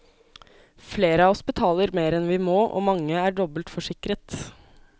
Flere av oss betaler mer enn vi må, og mange er dobbeltforsikret.